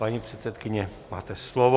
Paní předsedkyně, máte slovo.